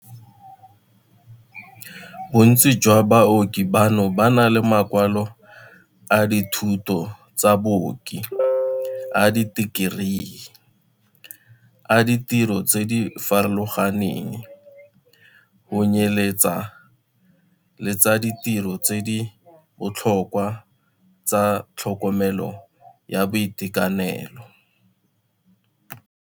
Bontsi jwa baoki bano ba na le makwalo a dithuto tsa baoki a ditekerii, a ditiro tse di farologaneng, go tsenyeletsa le tsa ditiro tse di botlhokwa tsa tlhokomelo ya boitekanelo.